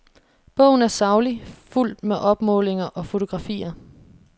Bogen er saglig, fuldt med opmålinger og fotografier.